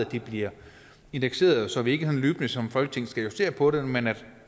de bliver indekseret så vi ikke løbende som folketing skal justere på det men at